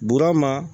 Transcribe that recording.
Buru ma